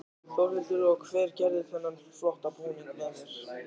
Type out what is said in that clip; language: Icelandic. Þórhildur: Og hver gerði þennan flotta búning með þér?